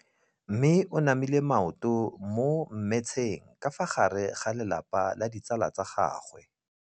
Mme o namile maoto mo mmetseng ka fa gare ga lelapa le ditsala tsa gagwe.